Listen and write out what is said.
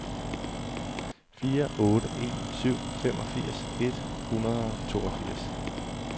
fire otte en syv femogfirs et hundrede og toogfirs